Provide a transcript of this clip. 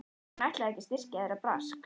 Hún ætlaði ekki að styrkja þeirra brask!